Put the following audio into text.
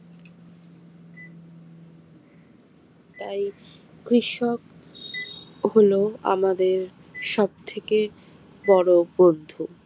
তাই কৃষক হলো আমাদের সবথেকে বড় বন্ধু